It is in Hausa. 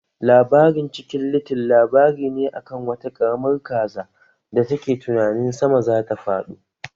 Labarin Cikin little labari ne a kan wata ƙaramar kaza da take tunanin sama zata fado